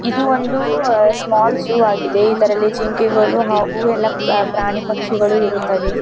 ಇದು ಒಂದು small zoo ಆಗಿದೆ ಇದರಲ್ಲಿ ಜಿಂಕೆಗಳು ಹಾಗು ಎಲ್ಲ ಪ್ರಾಣಿ ಪಕ್ಷಿಗಳು ಇರುತ್ತವೆ.